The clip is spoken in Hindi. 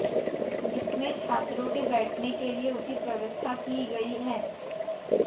जिसमें छात्रों के बैठने के लिए उचित व्यवस्था की गई है